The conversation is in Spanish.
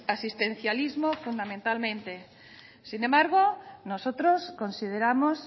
asistencialismo fundamentalmente sin embargo nosotros consideramos